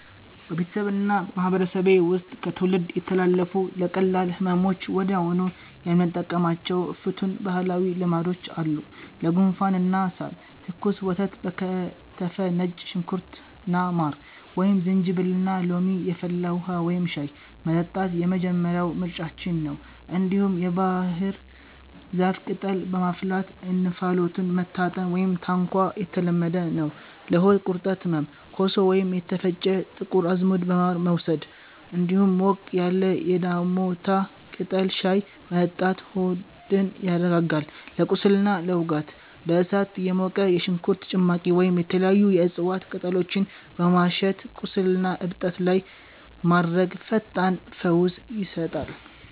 በቤተሰቤና በማህበረሰቤ ውስጥ ከትውልድ የተላለፉ፣ ለቀላል ህመሞች ወዲያውኑ የምንጠቀማቸው ፍቱን ባህላዊ ልማዶች አሉ፦ ለጉንፋንና ሳል፦ ትኩስ ወተት በከተፈ ነጭ ሽንኩርትና ማር፣ ወይም ዝንጅብልና ሎሚ የፈላ ውሃ (ሻይ) መጠጣት የመጀመሪያው ምርጫችን ነው። እንዲሁም የባህር ዛፍ ቅጠልን በማፍላት እንፋሎቱን መታጠን (ታንኳ) የተለመደ ነው። ለሆድ ቁርጠትና ህመም፦ ኮሶ ወይም የተፈጨ ጥቁር አዝሙድ በማር መውሰድ፣ እንዲሁም ሞቅ ያለ የዳሞታ ቅጠል ሻይ መጠጣት ሆድን ያረጋጋል። ለቁስልና ለውጋት፦ በእሳት የሞቀ የሽንኩርት ጭማቂ ወይም የተለያዩ የእጽዋት ቅጠሎችን በማሸት ቁስልና እብጠት ላይ ማድረግ ፈጣን ፈውስ ይሰጣል።